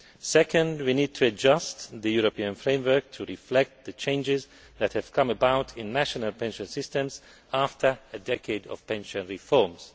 Second, we need to adjust the European framework to reflect the changes that have come about in national pension systems after a decade of pension reforms.